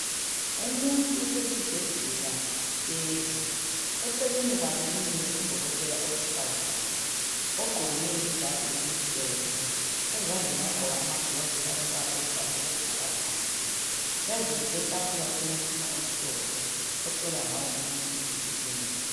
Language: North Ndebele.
Umuntu usesibhedlela uhlezi eceleni kwakhe kumile udokotela owesifazana ogqoke ijazi elimhlophe ezandleni wagqoka amagilovisi alombala oluhlaza okwesibhakabhaka phezulu kwetafula kulomutshina omhlophe ohlola ngawo umuntu iBp.